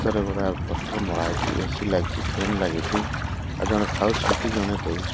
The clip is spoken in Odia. ପୋଷ୍ଟର ମରା ହେଇଚି ଏ_ସି ଲାଗିଚି ଫାନ ଲାଗିଚି ଆଉ ଜଣେ ଖାଉଛନ୍ତି ଜଣେ ଦଉଛ --